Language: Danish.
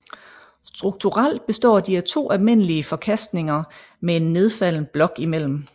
Strukturelt består de af to almindelige forkastninger med en nedfaldet blok imellem